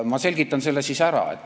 Ma selgitan selle siis ära.